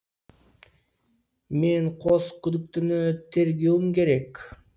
мен қос күдіктіні тергеуім керек